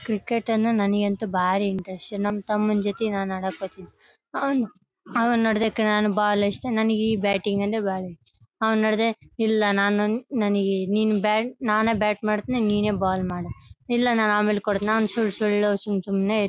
cricket ಅಂದ್ರೆ ನನ್ಗೆ ಅಂತೂ ಬಾರಿ ಇಂಟ್ರೆಸ್ಟ್ ನನ್ ತಮ್ಮನ್ ಜೊತೆ ನನ್ ಆಡಕ್ಕೆ ಹೋಗ್ತಿದ್ದೆ ಅವ್ನು ಅವನು ನೋಡುದ್ರೆ ನನಿಗೆ ಬಾಲ್ ಅಷ್ಟೇ ನನಿಗೆ ಈ ಬ್ಯಾಟಿಂಗ್ ಅಂದ್ರೆ ಬಹಳ ಇಷ್ಟ ಅವನು ನೋಡುದ್ರೆ ಇಲ್ಲ ನನಿಗೆ ನಿನ್ ಬ್ಯಾಟ್ ನಾನೆ ಬ್ಯಾಟ್ ಮಾಡ್ತೀನಿ ನೀನೆ ಬಾಲ್ ಮಾಡು ಇಲ್ಲ ನನ್ ಆಮೇಲೆ ಕೊಡ್ತೀನಿ ನನ್ ಸುಳ್ ಸುಳ್ಳು ಸುಮ್ ಸುಮ್ನೆ --